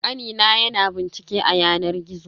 Kani na ya na bincike a yanar gizo.